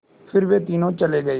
फिर वे तीनों चले गए